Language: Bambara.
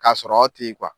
Ka sɔrɔ aw te yen